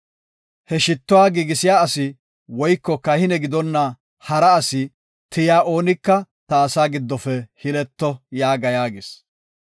He shittuwa giigisiya asi, woyko kahine gidonna hara asi tiyiya oonika ta asaa giddofe hileto’ yaaga” yaagis.